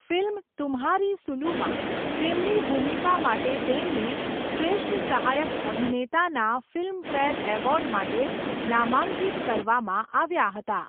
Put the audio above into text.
Film Tumhari સુલુમાં તેમની ભૂમિકા માટે તેમને શ્રેષ્ઠ સહાયક અભિનેતાના ફિલ્મફેર એવોર્ડ માટે નામાંકિત કરવામાં આવ્યા હતા.